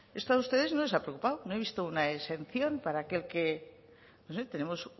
esto a ustedes no les ha preocupado no he visto una exención para que aquel que no sé tenemos